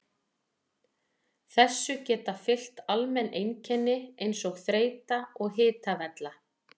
Þessu geta fylgt almenn einkenni eins og þreyta og hitavella.